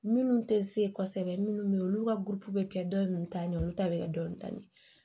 Minnu tɛ se kosɛbɛ minnu bɛ yen olu ka bɛ kɛ dɔ ninnu ta ɲɛ olu ta bɛ kɛ dɔ ni ta ye